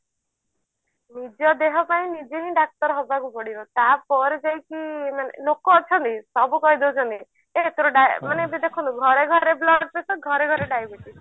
ନିଜ ଦେହ ପାଇଁ ନିଜକୁ ଡାକ୍ତର ହେବାକୁ ପଡିବ ତାପରେ ଯାଇକି ମାନେ ଲୋକ ଅଛନ୍ତି ସବୁ କରି ଦଉଛନ୍ତି ମାନେ ଦେଖନ୍ତୁ ଘରେ ଘରେ blood pressure ଘରେ ଘରେ diabetes